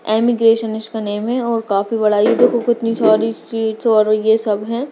अमिगेशन इसका नेम है और काफी बड़ा ये देखो कितनी सारी और ये सब है।